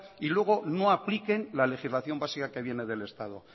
y luego no apliquen la legislación básica que viene del estado